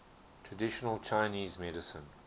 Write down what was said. traditional chinese medicine